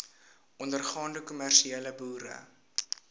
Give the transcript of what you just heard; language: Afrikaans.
ondergaande kommersiële boere